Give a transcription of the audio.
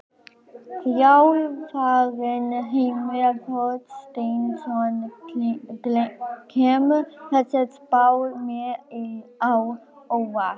Þjálfarinn: Heimir Þorsteinsson: Kemur þessi spá mér á óvart?